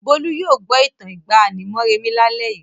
Bólú yóò gbọ́ ìtàn ìgbàanì Moremi lálẹ́ yìí.